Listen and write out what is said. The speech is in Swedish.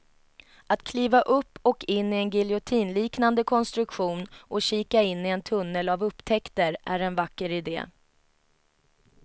Att kliva upp och in i en giljotinliknande konstruktion och kika in i en tunnel av upptäckter är en vacker idé.